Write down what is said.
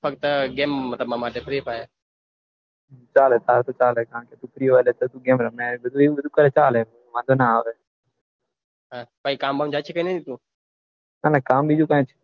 અને ગેમ રમવા માટે ફ્રી ફાયર ચાલે ફ્રી હોય ત્યારે ગેમ રમે એવું કરે તાય્રે ચાલે મને ના આવે કઈ કામ બાકી કે ની તું ના કામ